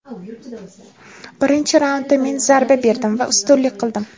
Birinchi raundda men zarba berdim va ustunlik qildim.